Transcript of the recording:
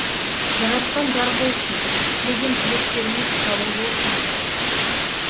жаратқан жар болсын тілеген тілектеріңіз қабыл болсын қалайық